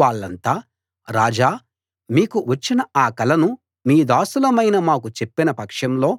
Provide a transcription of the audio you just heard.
అప్పుడు వాళ్ళంతా రాజా మీకు వచ్చిన ఆ కలను మీ దాసులమైన మాకు చెప్పిన పక్షంలో